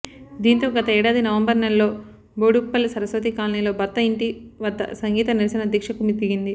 దీంతో గత ఏడాది నవంబర్ నెలలో బోడుప్పల్ సరస్వతి కాలనీలో భర్త ఇంటి వద్ద సంగీత నిరసన దీక్షకు దిగింది